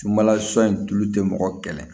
Sumala sɔn tulu tɛ mɔgɔ kɛlɛ